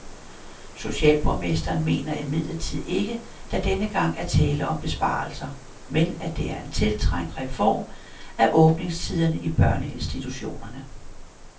Socialborgmesteren mener imidlertid ikke, der denne gang er tale om besparelser, men at det er en tiltrængt reform af åbningstiderne i børneinstitutionerne.